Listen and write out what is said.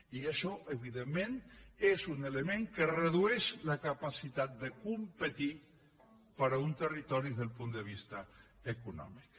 i això evidentment és un element que redueix la capacitat de competir per a uns territoris des d’un punt de vista econòmic